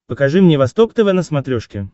покажи мне восток тв на смотрешке